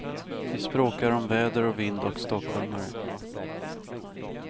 Vi språkar om väder och vind och stockholmare.